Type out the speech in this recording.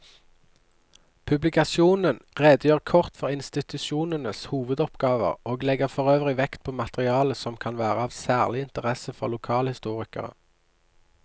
Publikasjonen redegjør kort for institusjonenes hovedoppgaver og legger forøvrig vekt på materiale som kan være av særlig interesse for lokalhistorikere.